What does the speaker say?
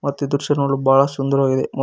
ಮತ್ತ ಈ ದೃಶ್ಯ ನೋಡಲು ಬಹಳ ಸುಂದರವಾಗಿದೆ.